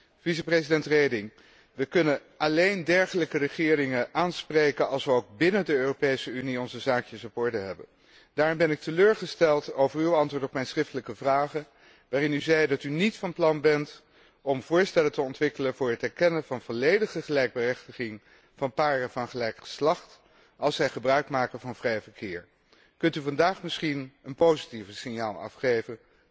Vicevoorzitter Reding, we kunnen alleen dergelijke regeringen aanspreken als we ook binnen de Europese Unie onze zaakjes op orde hebben. Daarom ben ik teleurgesteld over uw antwoord op mijn schriftelijke vragen, waarin u zei dat u niet van plan bent om voorstellen te ontwikkelen voor het erkennen van volledige gelijkberechtiging van paren van gelijk geslacht als zij gebruikmaken van het vrij verkeer. Kunt u vandaag misschien een positiever signaal afgeven?